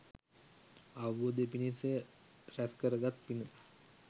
අවබෝධය පිණිස රැස් කරගත් පින